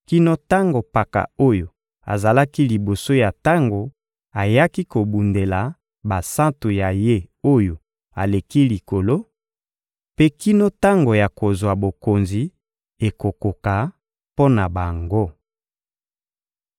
kino tango Mpaka oyo azala liboso ya tango ayaki kobundela basantu ya Ye-Oyo-Aleki-Likolo, mpe kino tango ya kozwa bokonzi ekokoka mpo na bango.